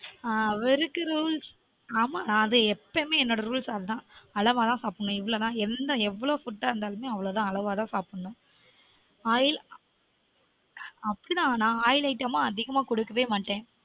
ஆஹ் rules ஆமா அது எப்பவுமே என்னொட rules அதான் அளவா தான் சாப்டனும் இவ்லொ தான் எந்த எவ்வள food இருந்தாலுமெ அவ்லொ தான் அளவா தான் சாப்டனும் oiloil item அதிகமா குடுக்கவே மாட்டன்